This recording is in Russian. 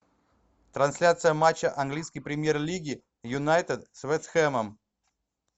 трансляция матча английской премьер лиги юнайтед с вест хэмом